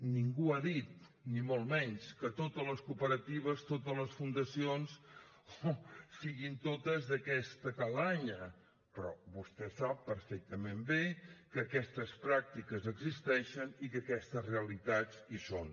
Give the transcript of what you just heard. ningú ha dit ni molt menys que totes les cooperatives totes les fundacions siguin totes d’aquesta mena però vostè sap perfectament bé que aquestes pràctiques existeixen i que aquestes realitats hi són